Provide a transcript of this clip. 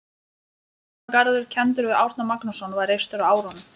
Árnagarður, kenndur við Árna Magnússon, var reistur á árunum